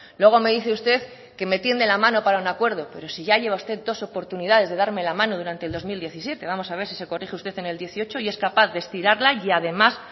luego me dice usted que me tiende la mano para un acuerdo pero sí ya lleva usted dos oportunidades de darme la mano durante el dos mil diecisiete vamos a ver si se corrige usted en el dieciocho y es capaz de estirarla y además